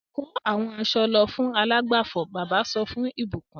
Kó àwọn aṣọ lọ fún alágbàfọ̀! Bàbá sọ fún ìbùkún.